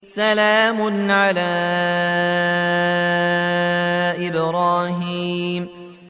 سَلَامٌ عَلَىٰ إِبْرَاهِيمَ